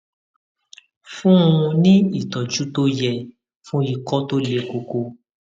fún un ní ìtọjú tó yẹ fún ikọ tó le koko